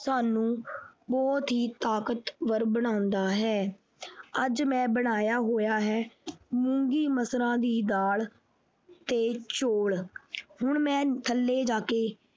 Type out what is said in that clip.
ਸਾਨੂੰ ਬਹੁਤ ਹੀ ਤਾਕਤਵਰ ਬਣਾਉਂਦਾ ਹੈ ਅੱਜ ਮੈਂ ਬਣਾਇਆ ਹੋਇਆ ਹੈ ਮੂੰਗੀ ਮਸਰਾਂ ਦੀ ਦਾਲ ਤੇ ਚੋਲ ਹੁਣ ਮੈਂ ਥੱਲੇ ਜਾ ਕੇ